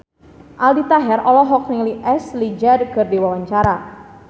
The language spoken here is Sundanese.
Aldi Taher olohok ningali Ashley Judd keur diwawancara